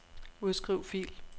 Udskriv fil.